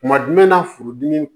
Kuma jumɛn na furudimi